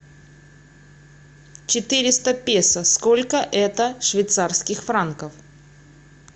четыреста песо сколько это швейцарских франков